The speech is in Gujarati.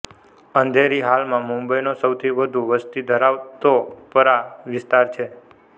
અંધેરી હાલમાં મુંબઈનો સૌથી વધુ વસ્તી ધરાવતો પરાં વિસ્તાર છે